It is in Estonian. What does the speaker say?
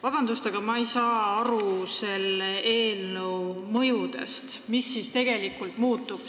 Vabandust, aga ma ei saa aru selle eelnõu mõjudest, et mis siis tegelikult muutub.